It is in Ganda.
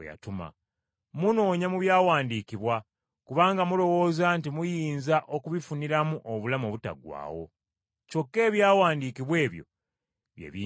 Munoonya mu Byawandiikibwa kubanga mulowooza nti muyinza okubifuniramu obulamu obutaggwaawo. Kyokka Ebyawandiikibwa ebyo bye binjulira.